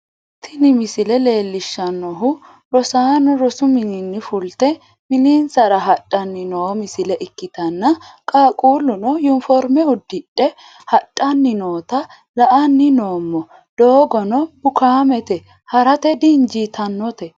tini misile leellishshannohu rosaano rosu mininni fulte mininsara hadhanni noo misile ikkitanna, qaaqquluno uniforme uddidhe hadhanni noota la'anni noommo, doogono bukaamete ha'rate dinjitannote.